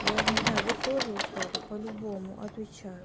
я не знаю вы тоже устали по-любому отвечаю